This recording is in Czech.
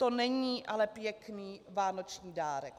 To není ale pěkný vánoční dárek.